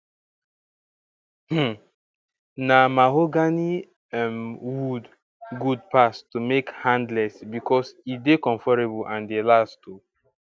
um na mahogany um wood good pass to make handless becos e dey conforable and dey last oh